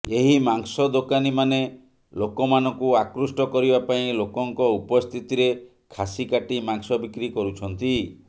ଏହି ମାଂସ ଦୋକାନୀମାନେ ଲୋକମାନଙ୍କୁ ଆକୃଷ୍ଟ କରିବାପାଇଁ ଲୋକଙ୍କ ଉପସ୍ଥିତିରେ ଖାସି କାଟି ମାଂସ ବିକ୍ରୀ କରୁଛନ୍ତି